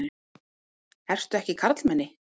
Ertu ekki karlmenni?